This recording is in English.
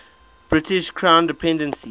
british crown dependency